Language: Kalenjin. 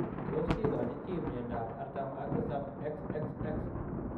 Tos kigochinii chii miondoop artam ak tisap XXX?